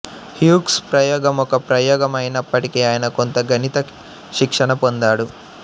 హ్యూగ్స్ ప్రయోగం ఒక ప్రయోగం అయినప్పటికీ అయన కొంత గణిత శిక్షణ పొందాడు